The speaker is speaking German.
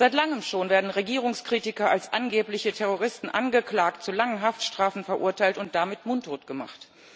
Seit Langem schon werden Regierungskritiker als angebliche Terroristen angeklagt, zu langen Haftstrafen verurteilt und damit mundtot gemacht.